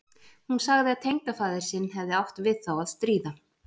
Hún sagði að tengdafaðir sinn hefði átt við þá að stríða.